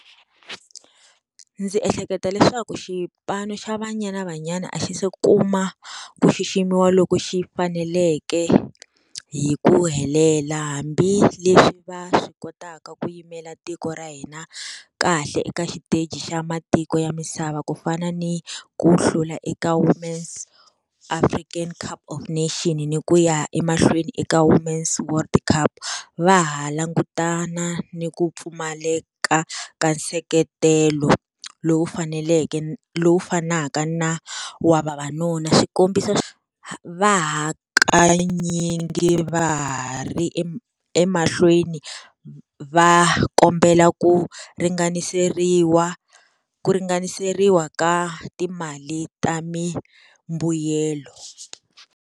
Ndzi ehleketa leswaku xipano xa Banyana Banyana a xi se kuma ku xiximiwa loko xi faneleke hi ku helela hambileswi va swi kotaka ku yimela tiko ra hina kahle eka xiteji xa matiko ya misava ku fana ni ku hlula eka Women's African Cup of Nation ni ku ya emahlweni eka Women's World Cup va ha langutana ni ku pfumale ka ka nseketelo lowu faneleke lowu fanaka na wa vavanuna xikombiso va ha kanyingi va ha ri emahlweni va kombela ku ringaniseriwa ku ringaniseriwa ka timali ta mimbuyelo.